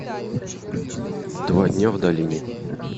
два дня в долине